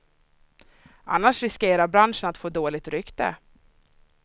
Annars riskerar branschen att få dåligt rykte.